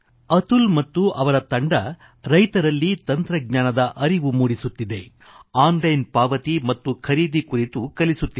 ಅತುಲ್ ಮತ್ತು ಅವರ ತಂಡ ರೈತರಲ್ಲಿ ತಂತ್ರಜ್ಞಾನದ ಅರಿವು ಮೂಡಿಸುತ್ತಿದೆ ಆನ್ಲೈನ್ ಪಾವತಿ ಮತ್ತು ಖರೀದಿ ಕುರಿತು ಕಲಿಸುತ್ತಿದೆ